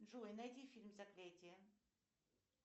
джой найди фильм заклятие